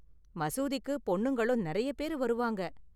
மசூதிக்கு பொண்ணுங்களும் நெறைய பேரு வருவாங்க.